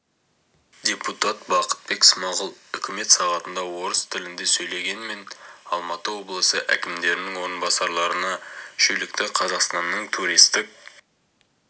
депутат бақытбек смағұл үкімет сағатында орыс тілінде сөйлеген мен алматы облысы әкімдерінің орынбасарларына шүйлікті қазақстанның туристік